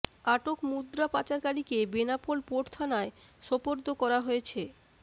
আটক মুদ্রাপাচারকারিকে বেনাপোল পোর্ট থানায় সোপর্দ করা হয়েছে